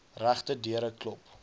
regte deure klop